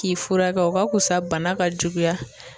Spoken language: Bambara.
K'i furakɛ o ka fisa bana ka juguya.